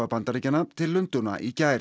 Bandaríkjanna til Lundúna í gær